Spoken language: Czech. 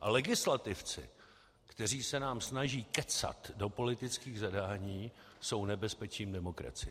A legislativci, kteří se nám snaží kecat do politických zadání, jsou nebezpečím demokracie.